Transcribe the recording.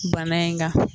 Bana in kan